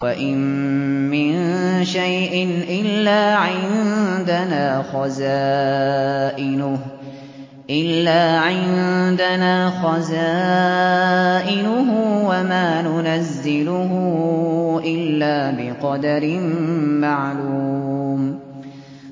وَإِن مِّن شَيْءٍ إِلَّا عِندَنَا خَزَائِنُهُ وَمَا نُنَزِّلُهُ إِلَّا بِقَدَرٍ مَّعْلُومٍ